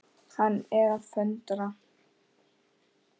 Hann er að föndra.